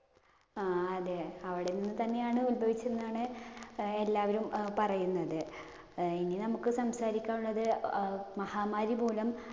ആ അതെ അവിടുന്ന് തന്നെയാണ് ഉത്ഭവിച്ച് എന്നാണ് എല്ലാവരും പറയുന്നത്. ഇനി നമുക്ക് സംസാരിക്കാന്‍ ഉള്ളത് മഹാമാരി മൂലം